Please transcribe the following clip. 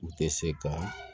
U tɛ se ka